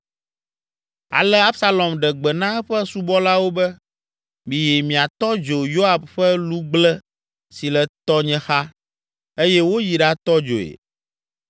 Ale Absalom ɖe gbe na eƒe subɔlawo be, “Miyi miatɔ dzo Yoab ƒe lugble si le tɔnye xa” eye woyi ɖatɔ dzoe.